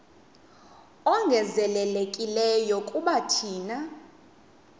ongezelelekileyo kuba thina